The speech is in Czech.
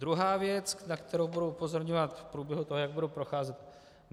Druhá věc, na kterou budu upozorňovat v průběhu toho, jak budu procházet.